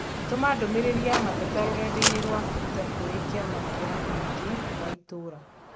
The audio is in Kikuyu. Tũma ndũmīrīri ya mateta rũrenda-inī rũa tũita kũrĩ kĩama kĩa mũingĩ wa itũũra